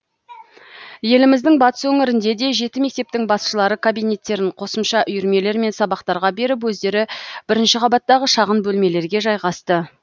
еліміздің батыс өңірінде де жеті мектептің басшылары кабинеттерін қосымша үйірмелер мен сабақтарға беріп өздері бірінші қабаттағы шағын бөлмелерге жайғасты